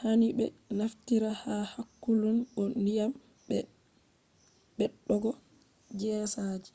hani be naftira ha hakkulun go ndyiam, be beddogo gesa ji